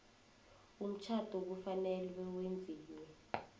umtjhado kufanele wenziwe